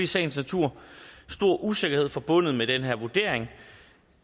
sagens natur stor usikkerhed forbundet med den her vurdering